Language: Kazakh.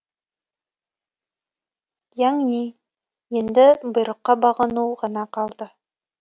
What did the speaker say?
яңни енді бұйрыққа бағыну ғана қалды